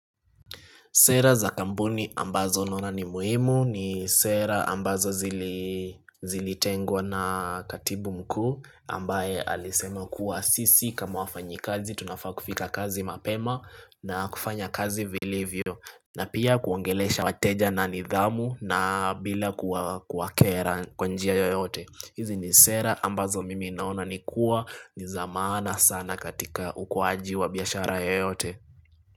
Sera za kampuni ambazo naona ni muhimu ni sera ambazo zili zilitengwa na katibu mkuu ambaye alisema kuwa sisi kama wafanyikazi tunafaa kufika kazi mapema na kufanya kazi vilivyo na pia kuongelesha wateja na nidhamu na bila kuwakera kwa njia yoyote. Hizi ni sera ambazo mimi naona ni kuwa ni za maana sana katika ukuwaji wa biashara yoyote.